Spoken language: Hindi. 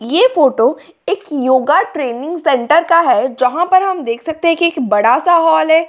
ये फोटो एक योगा ट्रेनिंग सेंटर का जहाँ पर हम देख सकते हैं कि एक बड़ा सा हॉल है।